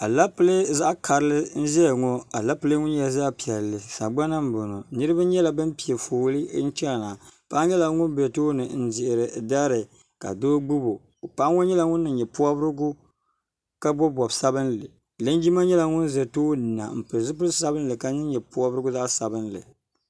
alɛpilɛ zaɣ karili n ʒɛya ŋo alɛpilɛ ŋo nyɛla zaɣ piɛlli sagbana n boŋo niraba nyɛla bin piɛ fooli n chɛna paɣa nyɛla ŋun bɛ tooni n ʒiri dari ka doo gbubi o paɣa ŋo nyɛla ŋun niŋ nyɛ pobirigu ka bob bobi sabinli linjima nyɛla ŋun ʒɛ tooni na n pili zipili sabinli ka niŋ nyɛ pobirigu zaɣ sabinli